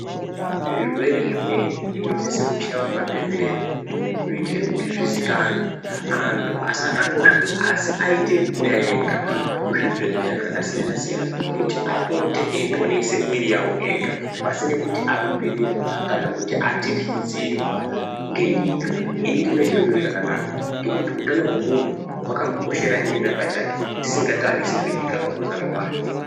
Zvirwere zvimweni zvinosise kuchaiwe mabembera kuitire kuti zvizikanwe anhu asasvosvwa asi aite kuuya ega kuzvibhehleya zvakasiyanasiyana kuti apote eiponese mwiri yawo ega pasine kuti arumbirirwa kana kuti atyityidzirwa ngenyika ini ndinoona chiri chiro chakanaka ngekuti utano hwemunhu hwakamukoshera iyena pachake tisingatarisi zvenyika pakuzara kwayo.